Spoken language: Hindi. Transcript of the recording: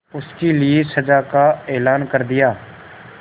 उसके लिए सजा का ऐलान कर दिया